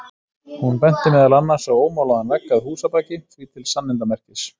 Hún benti meðal annars á ómálaðan vegg að húsabaki, því til sannindamerkis.